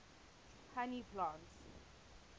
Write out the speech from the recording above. honey plants